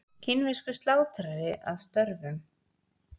Kínverskur slátrari að störfum.